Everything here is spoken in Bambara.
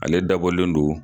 Ale dabɔlen don